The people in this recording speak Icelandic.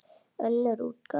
Önnur útgáfa.